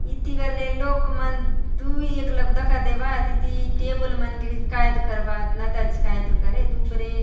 इति बले लोक मन दुई एक लोग दका देबात इति टेबल मन के काय करबात --